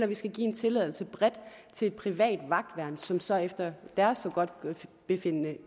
vi skal give en tilladelse bredt til et privat vagtværn som så efter deres forgodtbefindende